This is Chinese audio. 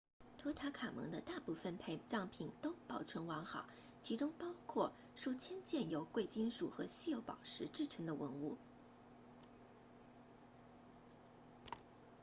图坦卡蒙的大部分陪葬品都保存完好其中包括数千件由贵金属和稀有宝石制成的文物